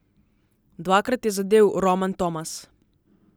Dvakrat je zadel Roman Tomas.